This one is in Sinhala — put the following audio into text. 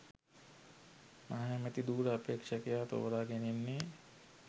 මහ ඇමැති ධුර අපේක්ෂකයා තෝරා ගැනෙන්නේ